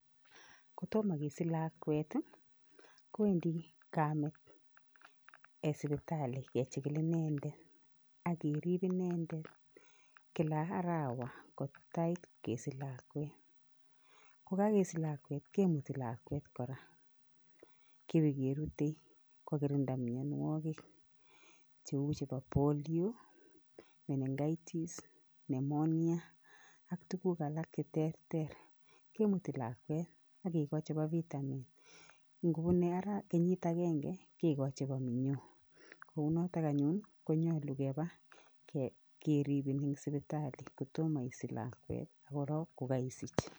Kotomo kesich lakwet ii, kowendi kamet sipitali kechikil inendet ak kerip inendet kila arawa ko tait kesich lakwet. Kokakesich lakwet kemuti lakwet kora, kebekerute kokirinda mianwogik cheu chebo polio, menengitis, pneumonia ak tuguk alak che terter, kemuti lakwet ak kekoch chebo vitamin, ngobune kenyit akenge kikoch chebo minyo, kou notok anyun konyolu keba keribin eng sipitali kotomo isich lakwet ak korok ko kaisich.